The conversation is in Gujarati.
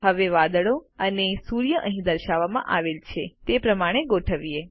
હવે વાદળો અને સૂર્યને અહીં દર્શાવવામાં આવેલ છે તે પ્રમાણે ગોઠવીએ